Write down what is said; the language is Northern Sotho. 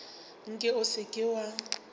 nke o se ke wa